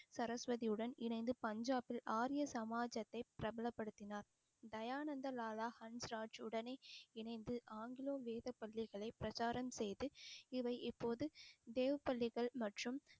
சரஸ்வதியுடன் இணைந்து பஞ்சாபில் ஆரிய சமாஜத்தை பிரபலப்படுத்தினார் தயானந்த லாலா ஹன்ஸ்ராஜ் உடனே இணைந்து ஆங்கிலோ வேத பள்ளிகளை பிரச்சாரம் செய்து இவை இப்போது தேவ பள்ளிகள் மற்றும்